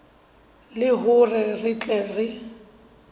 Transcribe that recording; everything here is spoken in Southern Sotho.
le hore re tle re